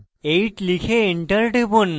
8 লিখে enter টিপুন